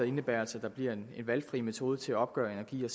indebærer altså at der bliver en valgfri metode til at opgøre energi